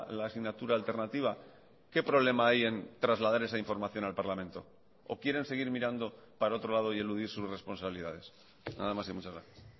la asignatura alternativa qué problema hay en trasladar esa información al parlamento o quieren seguir mirando para otro lado y eludir sus responsabilidades nada más y muchas gracias